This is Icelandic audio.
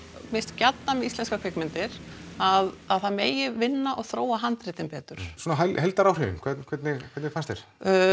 mér finnst gjarnan íslenskar kvikmyndir að að það megi vinna og þróa handritin betur svona heildaráhrifin hvernig hvernig fannst þér